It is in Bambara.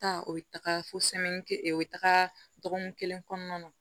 Taa o bɛ taga fo o bɛ taga dɔgɔkun kelen kɔnɔna na